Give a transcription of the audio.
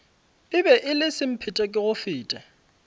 e be e le semphetekegofete